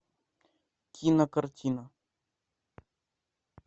кинокартина